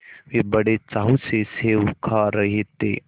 वे बड़े चाव से सेब खा रहे थे